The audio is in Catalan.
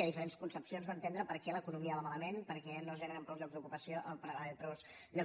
hi ha diferents concepcions d’entendre per què l’economia va malament per què no es generen prou llocs de